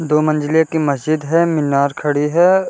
दो मंजिले की मस्जिद है मीनार खड़ी है |